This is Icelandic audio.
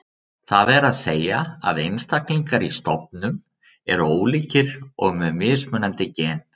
Það er að segja að einstaklingar í stofnum eru ólíkir og með mismunandi gen.